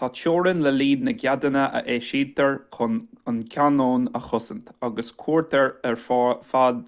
tá teorainn le líon na gceadanna a eisítear chun an cainneon a chosaint agus cuirtear ar fáil